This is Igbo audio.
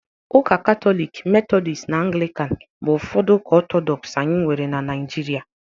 Ụka Katọlik, Methodist na Anglịkan bụ ụfọdụ ụka Ọtọdọks anyị nwere na na Naịjirịa